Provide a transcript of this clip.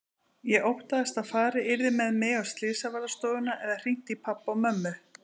Ég óttaðist að farið yrði með mig á slysavarðstofuna eða hringt í pabba og mömmu.